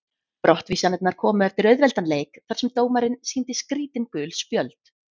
Brottvísanirnar komu eftir auðveldan leik þar sem dómarinn sýndi skrítin gul spjöld.